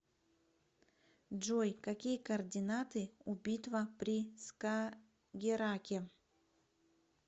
джой какие координаты у битва при скагерраке